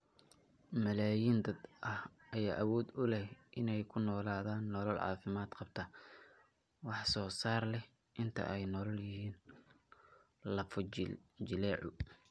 Malaayiin dad ah ayaa awood u leh in ay ku noolaadaan nolol caafimaad qabta, wax soo saar leh inta ay la nool yihiin lafo-jileecu.